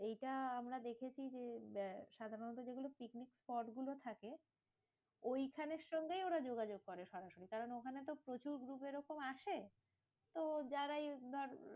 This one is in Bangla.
এইটা আমরা দেখেছি যে, সাধারণত যেগুলো পিকনিক spot গুলো থাকে, ওইখানের সঙ্গেই ওরা যোগাযোগ করে সাধারণত। কারণ ওখানে তো প্রচুর group ওরকম আসে, তো যারা এই ধর